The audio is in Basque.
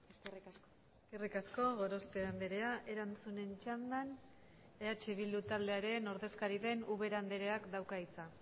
eskerrik asko eskerrik asko gorospe andrea erantzunen txandan eh bildu taldearen ordezkari den ubera andreak dauka hitza